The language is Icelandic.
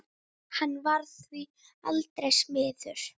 Hann varð því aldrei smiður.